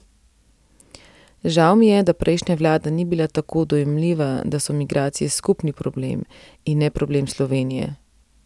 Žal mi je, da prejšnja vlada ni bila tako dojemljiva, da so migracije skupni problem in ne problem Slovenije ...